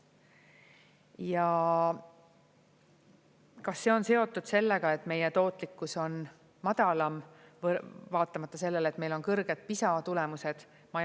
Ja kas see on seotud sellega, et meie tootlikkus on madalam, vaatamata sellele, et meil on kõrged PISA tulemused?